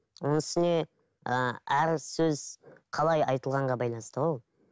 оның үстіне ііі әр сөз қалай айтылғанға байланысты ғой ол